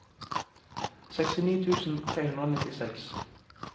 sekstini tusen tre hundre og nittiseks